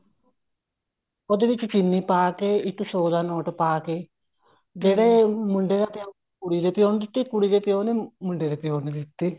ਉਹਦੇ ਵਿੱਚ ਚਿੰਨੀ ਪਾ ਏ ਇੱਕ ਸੋ ਦਾ ਨੋਟ ਪਾ ਕੇ ਜਿਹੜੇ ਮੁੰਡੇ ਦਾ ਪਿਓ ਕੁੜੀ ਦੇ ਪਿਓ ਨੂੰ ਦਿੱਤੀ ਕੁੜੀ ਦੇ ਪਿਓ ਨੇ ਮੁੰਡੇ ਦੇ ਪਿਓ ਨੂੰ ਦਿੱਤੀ